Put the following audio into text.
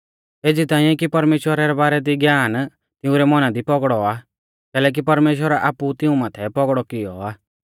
एज़ी ताइंऐ कि परमेश्‍वरा रै बारै दी ज्ञान तिंउरै मौना दी पौगड़ौ आ कैलैकि परमेश्‍वरै आपु ऊ तिऊं माथै पौगड़ौ किऔ आ